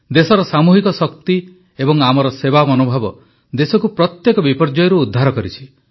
ଦେଶର ସାମୁହିକ ଶକ୍ତି ଏବଂ ଆମର ସେବା ମନୋଭାବ ଦେଶକୁ ପ୍ରତ୍ୟେକ ବିପର୍ଯ୍ୟୟରୁ ଉଦ୍ଧାର କରିଛି